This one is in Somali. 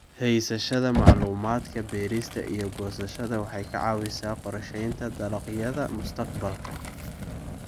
Haysashada macluumaadka beerista iyo goosashada waxay ka caawisaa qorsheynta dalagyada mustaqbalka.